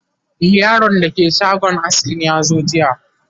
e Yaron da ke shagon askin yazo jiya